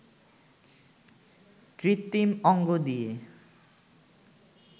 কৃত্রিম অঙ্গ দিয়ে